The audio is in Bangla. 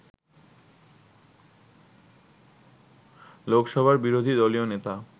লোকসভার বিরোধী দলীয় নেতা